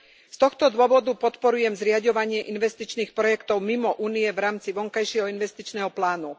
Z tohto dôvodu podporujem zriaďovanie investičných projektov mimo Únie v rámci vonkajšieho investičného plánu.